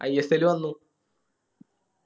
ISL വന്നു